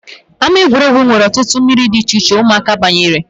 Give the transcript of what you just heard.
Ámá egwuregwu nwere ọtụtụ mmiri dị icheiche ụmụaka banyere